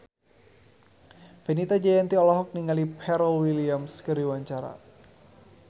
Fenita Jayanti olohok ningali Pharrell Williams keur diwawancara